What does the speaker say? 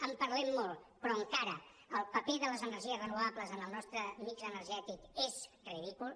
en parlem molt però encara el paper de les energies renovables en el nostre mix energètic és ridícul